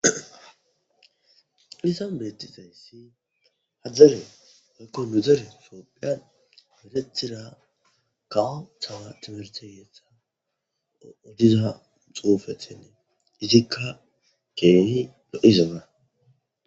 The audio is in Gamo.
Hayssan beettizayssi hadzare makko nu dere soophiyan meletira kawo tawa timerteyeetha odiza xuufethenne izikka keeni lo7izaana